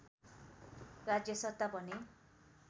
राज्यसत्ता भने